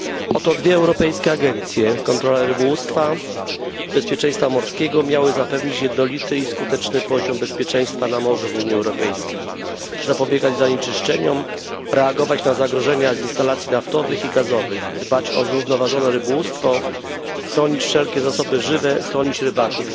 Oto dwie europejskie agencje, kontrolujące rybołówstwo i bezpieczeństwo morskie, miały zapewnić jednolity i skuteczny poziom bezpieczeństwa na morzu w Unii Europejskiej, zapobiegać zanieczyszczeniom, reagować na zagrożenia z instalacji naftowych i gazowych, dbać o zrównoważone rybołówstwo, chronić wszelkie zasoby żywe, chronić rybaków